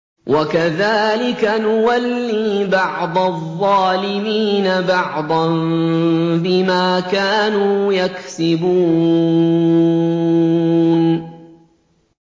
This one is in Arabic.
وَكَذَٰلِكَ نُوَلِّي بَعْضَ الظَّالِمِينَ بَعْضًا بِمَا كَانُوا يَكْسِبُونَ